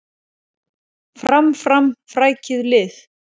Fram, fram, frækið lið!